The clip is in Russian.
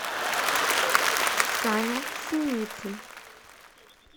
саня синицын